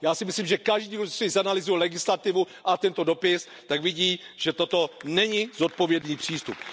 Já si myslím, že každý volič, který si zanalyzuje legislativu a tento dopis, tak vidí, že toto není zodpovědný přístup.